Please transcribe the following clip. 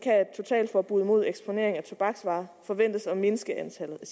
totalforbud mod eksponering af tobaksvarer forventes at mindske antallet af